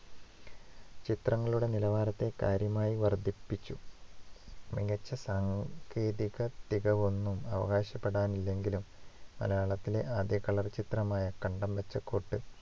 ചിത്രങ്ങളുടെ നിലവാരത്തെ കാര്യമായി വർദ്ധിപ്പിച്ചു മികച്ച സാങ്കേതികത്തികവൊന്നും അവകാശപ്പെടാനില്ലെങ്കിലും മലയാളത്തിലെ ആദ്യ colour ചിത്രമായ കണ്ടം ബെച്ച കോട്ട്